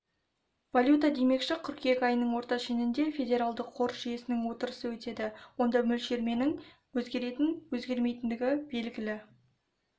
валюта демекші қыркүйек айының орта шенінде федералды қор жүйесінің отырысы өтеді онда мөлшерлеменің өзгеретін өзгермейтіндігі белгілі